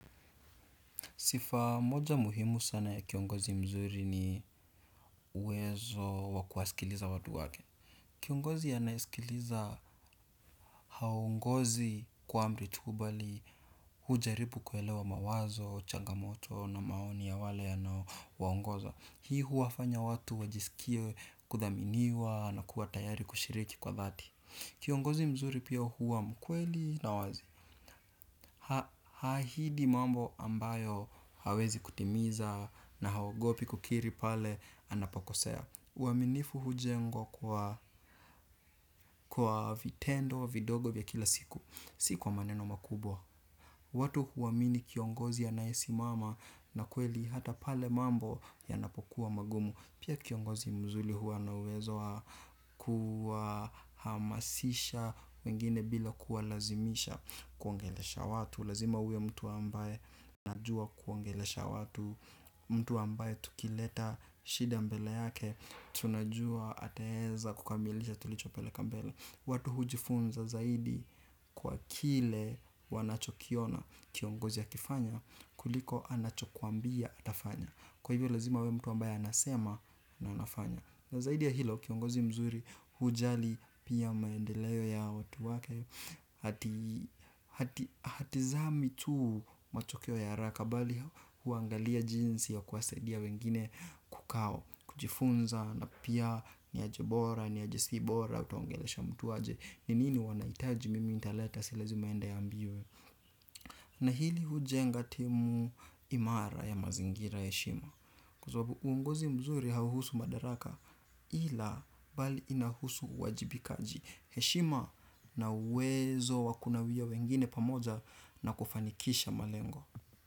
Sifa moja muhimu sana ya kiongozi mzuri ni uwezo wakuwasikiliza watu wake. Kiongozi anayesikiliza haongozi kwa amri tu bali hujaribu kuelewa mawazo, changamoto na maoni ya wale anao waongoza. Hii huwafanya watu wajisikie kudhaminiwa na kuwa tayari kushiriki kwa dhati. Kiongozi mzuri pia huwa mkweli na wazi. Haahidi mambo ambayo hawezi kutimiza na haogopi kukiri pale anapokosea uaminifu hujengwa kwa vitendo, vidogo vya kila siku si kwa maneno makubwa. Watu huamini kiongozi anaye simama na kweli hata pale mambo yanapokuwa magumu. Pia kiongozi mzuri huwa na uwezo hamasisha wengine bila kuwa lazimisha. Kuongelesha watu, lazima uwe mtu ambaye anajua kuongelesha watu. Mtu ambaye tukileta shida mbele yake tunajua ataeza kukamilisha tulichopeleka mbele watu hujifunza zaidi. Kwa kile wanachokiona kiongozi akifanya kuliko anacho kuambia atafanya. Kwa hivyo lazima awe mtu ambaye anasema na anafanya na zaidi ya hilo kiongozi mzuri hujali pia maendeleo ya watu wake hatizami tuu matokeo ya haraka bali huangalia jinsi ya kuwasaidia wengine kukaa kujifunza na pia niaje bora niaje si bora utaongelesha mtu aje ninini wanahitaji mimi nitaleta si lazima aende aambiwe na hili hujenga timu imara ya mazingira ya heshima kwa sababu uongozi mzuri hau husu madaraka ila bali inahusu uwajibikaji heshima na uwezo wakunawia wengine pamoja na kufanikisha malengo.